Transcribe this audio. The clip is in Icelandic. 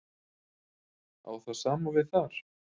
Á það sama við þar?